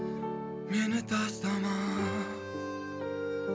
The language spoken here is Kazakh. мені тастама